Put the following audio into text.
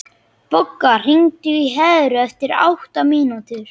Bogga, hringdu í Heru eftir átta mínútur.